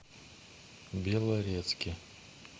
белорецке